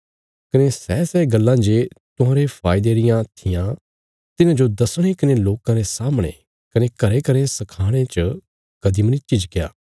कने सैसै गल्लां जे तुहांरे फायदे रियां थिआं तिन्हांजो दसणे कने लोकां रे सामणे कने घरेंघरें सखाणे च कदीं मनी झिझक्या